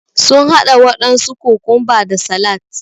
Sun haɗa waɗansu kokumba da salat